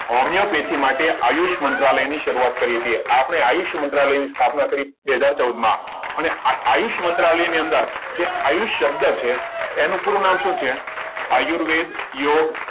homeopathic માટે આયુષ મંત્રાલયની શરૂઆત કરીએ છીએ આપણે આયુષ મંત્રાલયની સ્થાપના બે હજાર ચૌદમાં અને આયુષ્માન મંત્રાલયની અંદર જે આયુષ શબ્દ છે એનું પૂરું નામ શું છે આયુર્વેદ યોગ